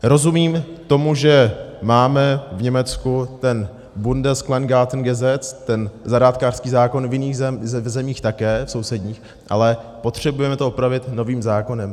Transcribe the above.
Rozumím tomu, že máme v Německu ten Bundeskleingartengesetz, ten zahrádkářský zákon, v jiných zemích také, v sousedních, ale potřebujeme to upravit novým zákonem?